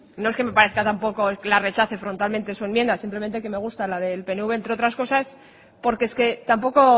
no es que me parezca tampoco que la rechace frontalmente su enmienda simplemente que me gusta la del pnv entre otras cosas porque es que tampoco